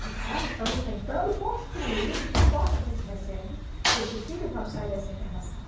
Precisamos, estamos tentando construir de que forma a gente recebe esse filho quando sai dessa internação.